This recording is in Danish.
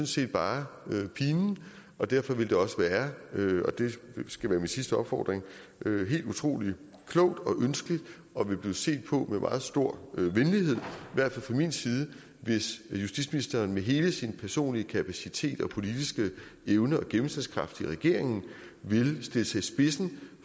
set bare pinen derfor ville det også være det skal være min sidste opfordring helt utrolig klogt og ønskeligt og ville blive set på med meget stor venlighed i hvert fald fra min side hvis justitsministeren med hele sin personlige kapacitet og politiske evne og gennemslagskraft i regeringen ville stille sig i spidsen